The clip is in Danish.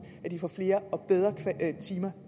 at de får flere og bedre timer